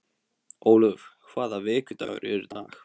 Ólöf, hvaða vikudagur er í dag?